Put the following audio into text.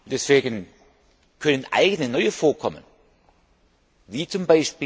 Deswegen können eigene neue Vorkommen, wie z.